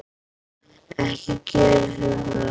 Ekki gerir þú það!